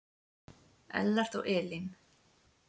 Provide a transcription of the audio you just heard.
Ellert og Elín.